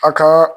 A ka